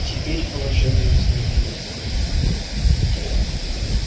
теперь положение изменилось